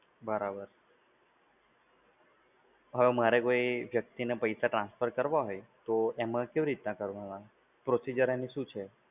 બરાબર છે. હવે મારે કોઈ વ્યક્તિને પૈસા transfer કરવા હોય, તો એમાં કેવી રીતના કરવાના? procedure એનું શું છે?